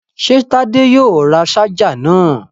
Ṣé Tádé yóò ra ṣáájà náà?